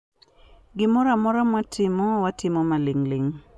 Gimoro amora mwatimo, watimo maling ling